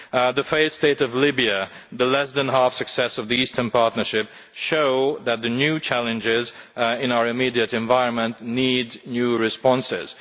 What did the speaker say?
The failed state of Libya and the less than half success of the Eastern Partnership show that the new challenges in our immediate environment need new responses.